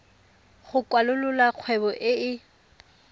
go kwalolola kgwebo e e